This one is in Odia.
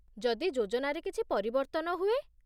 ଯଦି ଯୋଜନାରେ କିଛି ପରିବର୍ତ୍ତନ ହୁଏ?